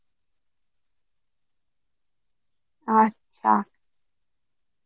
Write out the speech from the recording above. আচ্ছা